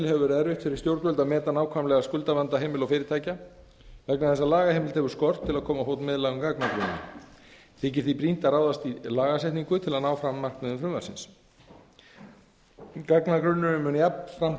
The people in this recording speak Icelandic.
hefur verið erfitt fyrir stjórnvöld að meta nákvæmlega skuldavanda heimila og fyrirtækja vegna þess að lagaheimild hefur skort til að koma á fót miðlægum gagnagrunni þykir því brýnt að ráðast í lagasetningu til að ná fram markmiðum frumvarpsins gagnagrunnurinn mun jafnframt